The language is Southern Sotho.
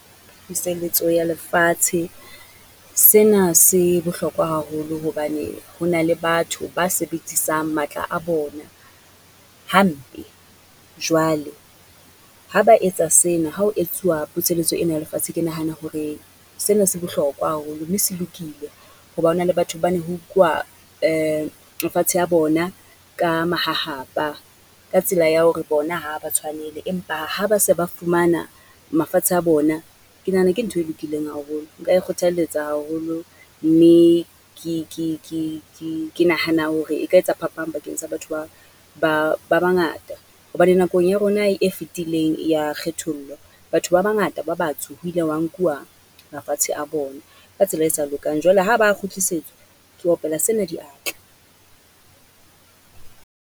Puseletso ya lefatshe sena se bohlokwa haholo hobane ho na le batho ba sebeditsang matla a bona hampe. Jwale, ha ba etsa sena ha ho etsuwa puseletso ena ya lefatshe. Ke nahana hore sena se bohlokwa haholo mme se lokile ho ba ho na le batho ba ne ho nkuwa mafatshe a bona ka mahahapa, ka tsela ya hore bona ha a ba tshwanele. Empa ha ba se ba fumana mafatshe a bona, ke nahana ke ntho e lokileng haholo. Nka e kgothalletsa haholo, mme ke ke ke ke ke nahana hore e ka etsa phapang bakeng sa batho ba ba ba bangata. Hobane nakong ya rona e fitileng ya kgethollo, batho ba bangata ba batsho ho ike hwa nkuwa, mafatshe a bona, ka tsela e sa lokang. Jwale ha ba a kgutlisetswa, ke opela sena diatla.